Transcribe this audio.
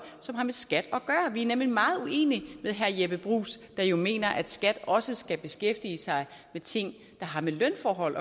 som har med skat at gøre vi er nemlig meget uenige med herre jeppe bruus der jo mener at skat også skal beskæftige sig med ting der har med lønforhold